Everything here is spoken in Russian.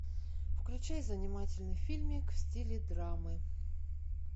включай занимательный фильмик в стиле драмы